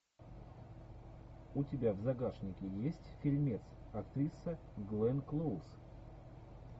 у тебя в загашнике есть фильмец актриса гленн клоуз